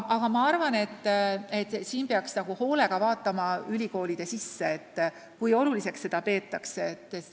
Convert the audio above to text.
Üldiselt aga peaks vaatama teisigi ülikoole, kui oluliseks seda peetakse.